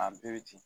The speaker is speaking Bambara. A bɛɛ bɛ ci